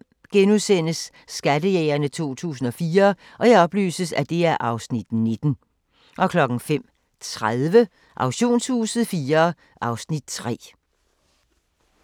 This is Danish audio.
05:00: Skattejægerne 2014 (Afs. 19)* 05:30: Auktionshuset IV (Afs. 3)